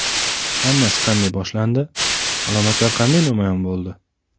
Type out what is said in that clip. Hammasi qanday boshlandi, alomatlar qanday namoyon bo‘ldi?